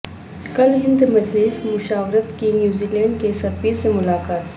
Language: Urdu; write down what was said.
کل ہند مجلس مشاورت کی نیوزی لینڈ کے سفیر سے ملاقات